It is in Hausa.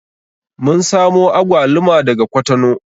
Mun samo agwaluma daga kwatano